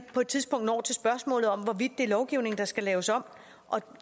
på et tidspunkt når til spørgsmålet om hvorvidt det er lovgivningen der skal laves om og